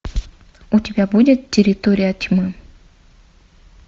у тебя будет территория тьмы